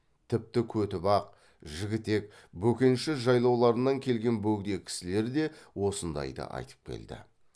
тіпті көтібақ жігітек бөкенші жайлауларынан келген бөгде кісілер де осындайды айтып келді